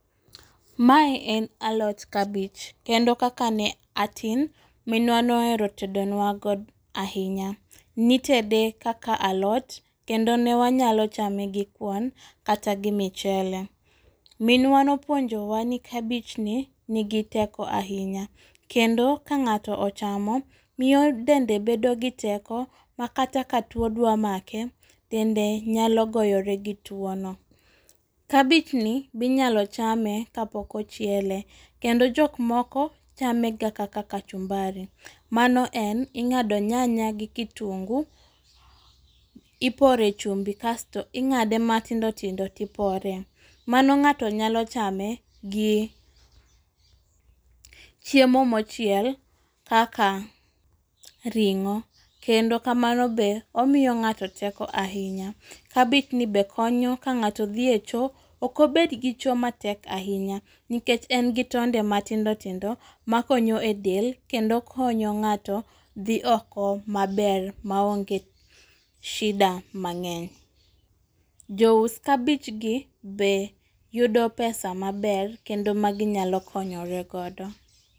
Mae en alot kabich ,kendo kaka ne atin, minwa ne ohero tedonwa godo ahinya. Nitede kaka alot , kendo ne wanyalo chame gi kuon, kata gi michele .Minwa ne opuonjowa ni kabichni, nigi teko ahinya kendo ka ng'ato ochamo, miyo dende bedo gi teko, ma kata ka two dwa make, dende nyalo goyore gi twono. Kabichni be inyalo chame ka pok ochiele, kendo jok moko, chamega kaka kachumbari. Mano en, ing'ado nyanya gi kitunguu, ipore chumbi kasto ing'ade matindotindo tipore. Mano ng'ato nyalo chame, gi, chiemo mochiel kaka ring'o. Kendo kamano be, omiyo ng'ato teko ahinya. Kabichni be konyo ka ng'ato dhi e choo, ok obed gi choo matek ahinya nikech en gi tonde matindotindo ma konyo e del, kendo konyo ng'ato dhi oko maber maonge shida mang'eny. Jous kabichgi be yudo pesa maber, kendo ma ginyalo konyoregodo.